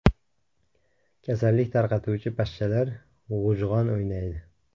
Kasallik tarqatuvchi pashshalar g‘ujg‘on o‘ynaydi.